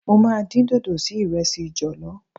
Mo máa dín dòdò sí ìrẹsì jọ̀lọ́.